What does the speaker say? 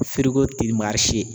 ti